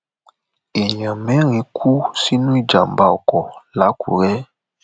èèyàn mẹrin kú sínú ìjàmbá ọkọ làkúrẹ